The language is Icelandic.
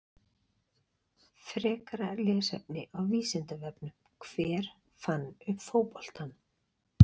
Frekara lesefni á Vísindavefnum: Hver fann upp fótboltann?